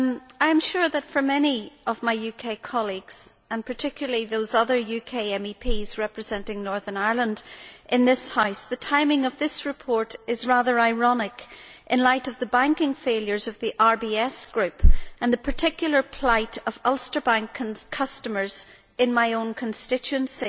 I am sure that for many of my UK colleagues and particularly those other UK MEPs representing Northern Ireland in this House the timing of this report is rather ironic in light of the banking failures of the RBS Group and the particular plight of Ulster Bank customers in my own constituency.